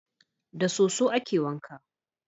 Da soso a ke wanka